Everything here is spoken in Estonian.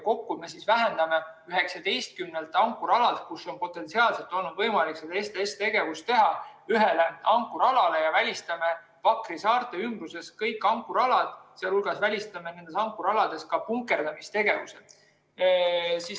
Kokku me vähendame ankrualade arvu, kus on potentsiaalselt olnud võimalik STS‑tegevus, 19 ankrualalt ühele ankrualale ja välistame Pakri saarte ümbruses kõik ankrualad, sh välistame nendel ankrualadel ka punkerdamistegevuse.